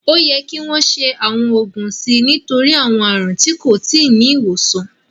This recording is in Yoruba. Ó yẹ kí wọ́n ṣe àwọn ògùn sí i nítorí àwọn àrùn tí kò tí ì ní ìwòsàn